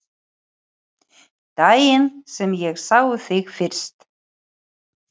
Daginn sem ég sá þig fyrst.